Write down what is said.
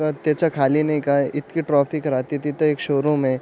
परत त्याच्या खाली नाही का इतकी ट्रॅफिक राहते तिथ एक शोरूम ए.